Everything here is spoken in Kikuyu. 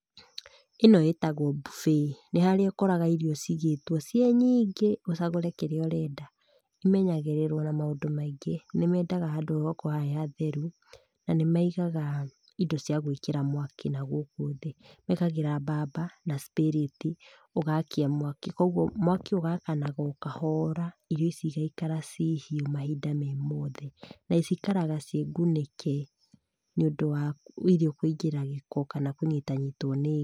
Ĩno ĩtagwo buffet. Nĩ haria ũkoraga irio ciigĩtwo ciĩ nyingĩ, ũcagũre kĩrĩa ũrenda. Cimenyagĩrĩrwo na maũndũ maingĩ. Nĩ mendaga handũ ũgakora he hatheru, na nĩ methaga indo cia gũĩkĩra mwaki na gũkũ thĩ. Mekagĩra mbamba, na cipĩrĩti, ũgakia mwaki, koguo mwaki ũgakanaga o kahora, irio ici igaikara ci hiũ mahinda me mothe, na cikaraga ciĩ ngunĩke, nĩũndũ wa irio kũingĩra gĩko, kana kũnyitanyitwo nĩ ngi.